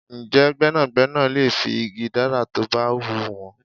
Ǹjẹ́ gbẹ́nàgbẹ́nà lè fi igi dárà tó bá hun wọn?